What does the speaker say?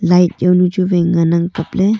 light jaonu chu wai ngan ang kaple.